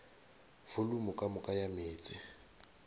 volumo ka moka ya meetse